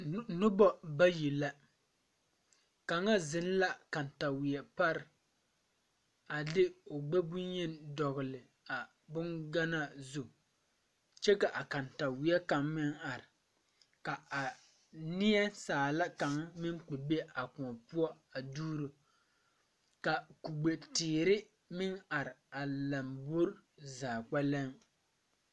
Nobɔ bayi la kaŋa zeŋ la kaŋtaweɛ pare a de o gbɛ bonyeni dɔgle a bonganaa zu kyɛ ka a kaŋtaweɛ kaŋ meŋ are ka a neɛ saala kaŋ meŋ kpɛ be a kõɔ poɔ a duuro ka kugbe teere meŋ are a lambore zaa kpɛlɛŋ.